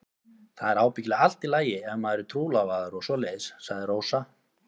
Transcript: Það er ábyggilega allt í lagi ef maður er trúlofaður og svoleiðis, sagði Rósa.